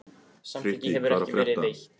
Frikki, hvað er að frétta?